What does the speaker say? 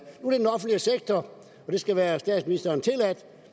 det sektor og det skal være statsministeren tilladt